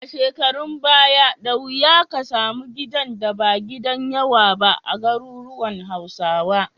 A shekarun baya, da wuya ka samu gidan da ba gidan yawa ba a garuruwan Hausawa.